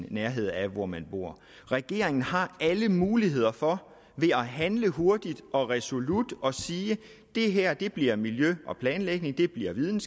i nærheden af hvor man bor regeringen har alle muligheder for ved at handle hurtigt og resolut at sige at det her bliver bliver miljø og planlægningsudvalget